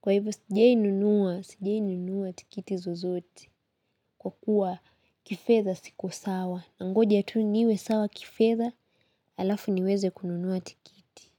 Kwa hivo sijai nunua, sijei nunua tikiti zozote. Kwa kuwa kifedha siku sawa. Nangoja tu niwe sawa kifedha, alafu niweze kununuwa tikiti.